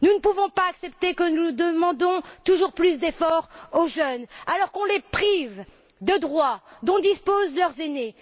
Nous ne pouvons pas accepter que nous demandions toujours plus d'efforts aux jeunes alors que nous les privons de droits dont disposent leurs aînés.